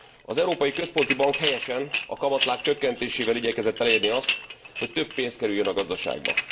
Az Európai Központi Bank, helyesen, a kamatláb csökkentésével igyekezett elérni azt, hogy több pénz kerüljön a gazdaságba.